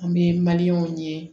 An bɛ ye